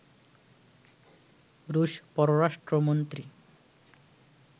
রুশ পররাষ্ট্রমন্ত্রী